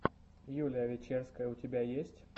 юлия вечерская у тебя есть